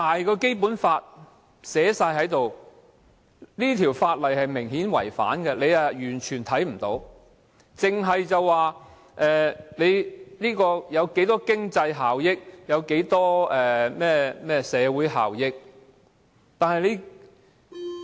《基本法》清楚訂明，而這項法例明顯違反《基本法》，但他們完全視而不見，只着眼經濟效益、社會效益。